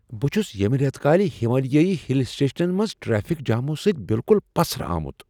بہٕ چھس یٔمہ ریتہ کالہِ ہمالیٲیی ہل سٹیشنن منز ٹریفک جامو سۭتۍ بالکل پسرٕ آمت۔